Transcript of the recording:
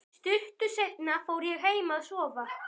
Stuttu seinna fór ég heim að sofa.